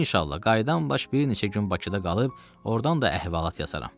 İnşallah qayıdan baş bir neçə gün Bakıda qalıb, ordan da əhvalat yazarım.